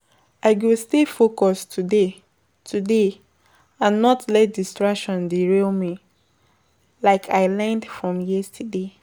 I go stay focused today today and not let distractions derail me, like I learned from yesterday.